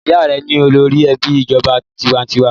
Ìyá rẹ ní olórí ẹgbẹ́ ìjọba tiwańtiwa.